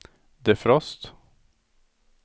defrost